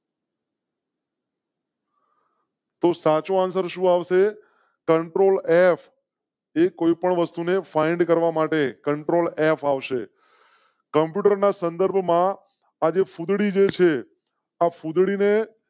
સાચો આન્સર શું આવશે? control of એ કોઈ પણ વસ્તુ ને find કરવા માટે કન્ટ્રોલ એફ ફાવશે. કમ્પ્યુટર ના સંદર્ભમાં આજે ફુદ્દી જૈસે આ ફુંધડી ને